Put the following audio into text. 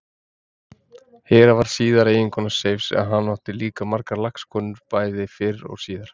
Hera varð síðar eiginkona Seifs en hann átti líka margar lagskonur bæði fyrr og síðar.